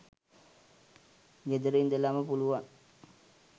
ගෙදර ඉඳලාම පුළුවන්